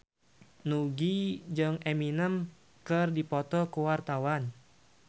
Nugie jeung Eminem keur dipoto ku wartawan